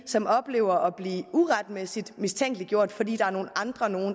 som oplever at blive uretmæssigt mistænkeliggjort fordi der er nogle andre